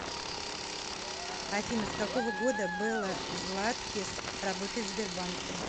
афина с какого года белла златкис работает в сбербанке